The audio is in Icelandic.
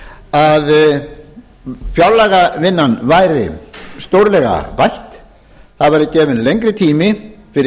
að fjárlagavinnan væri stórlega bætt það verði gefinn lengri tími fyrir